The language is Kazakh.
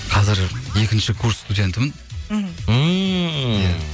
қазір екінші курс студентімін мхм ммм иә